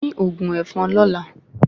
Fín ògùn èfọn lọ́la